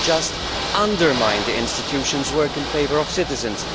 It will just undermine the institutions' work in favour of citizens.